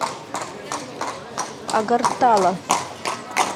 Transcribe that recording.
агартала